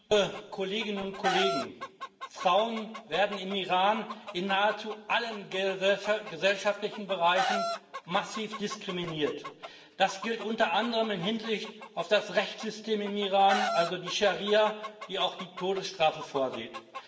Herr Präsident, liebe Kolleginnen und Kollegen! Frauen werden im Iran in nahezu allen gesellschaftlichen Bereichen massiv diskriminiert. Das gilt unter anderem in Hinsicht auf das Rechtssystem im Iran also die Scharia, die auch die Todesstrafe vorsieht.